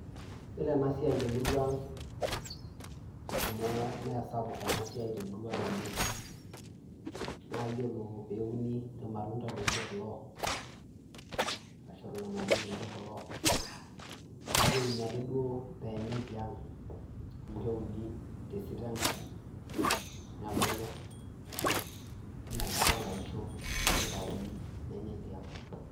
Yiolo ena siai temurua ang, amu meesapuk ena siai temurua ang oleng naa yiolo peeuni irmatunta loijo kulo orashu irganayio loijoo kulo naa keuni ake duo pee enyae tiang amu keuni tesita enkaji ,nebulu yiolo enkata naisho neitayuni nenyae tiang.